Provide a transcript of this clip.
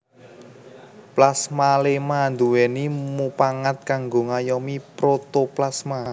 Plasmaléma nduwèni mupangat kanggo ngayomi protoplasma